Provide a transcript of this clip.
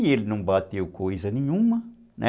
E ele não bateu coisa nenhuma, né?